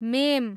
ma'am